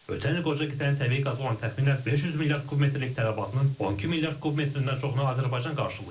Ötən il qoca qitənin təbii qaza olan təxminən 500 milyard kubmetrlik tələbatının 12 milyard kubmetrindən çoxunu Azərbaycan qarşılayıb.